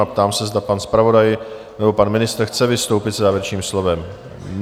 A ptám se, zda pan zpravodaj nebo pan ministr chce vystoupit se závěrečným slovem?